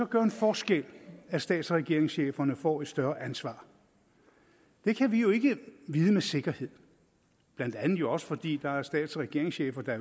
gøre en forskel at stats og regeringscheferne får et større ansvar det kan vi jo ikke vide med sikkerhed blandt andet også fordi der er stats og regeringschefer der